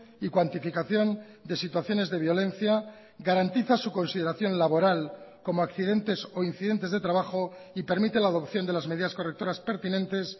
y cuantificación de situaciones de violencia garantiza su consideración laboral como accidentes o incidentes de trabajo y permite la adopción de las medidas correctoras pertinentes